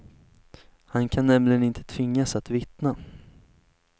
Han kan nämligen inte tvingas att vittna.